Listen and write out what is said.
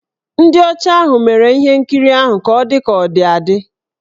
Ndị ọcha ahụ mere ihe nkirii ahụ ka ọ dị ka ọ dị adị.